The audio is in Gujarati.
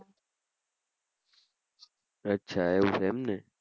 અચ્છા એવું એમ ને?